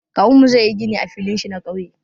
Kawunmu zai yi gini a filin shi na ƙauye.